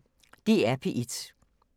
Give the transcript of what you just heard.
DR P1